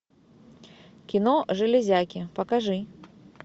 кино железяки покажи